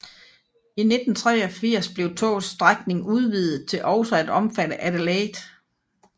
I 1983 blev togets strækning udvidet til også at omfatte Adelaide